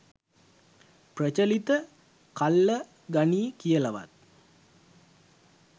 ප්‍රචලිත කල්ල ගනියි කියලවත්